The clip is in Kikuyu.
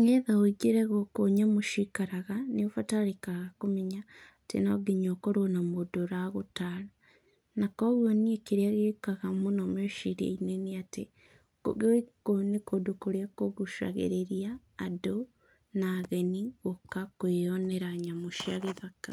nĩgetha wĩingĩre gũkũ nyamũ cikaraga, nĩ ũbatarĩkaga kũmenya atĩ no nginya ũkorwo na mũndũ ũragũtara. Na, kuoguo niĩ kĩrĩa gĩũkaga mũno meciria-inĩ nĩ atĩ gũkũ nĩ kũndũ kũrĩa kũgucagĩrĩria andũ na ageni gũka kwĩyonera nyamũ cia gĩthaka.